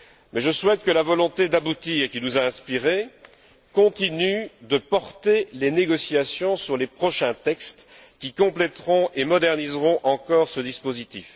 Mais je souhaite que la volonté d'aboutir qui nous a inspirés continue de porter les négociations sur les prochains textes, qui compléteront et moderniseront encore ce dispositif.